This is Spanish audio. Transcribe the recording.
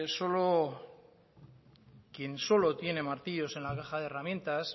quien solo tiene martillos en la caja de herramientas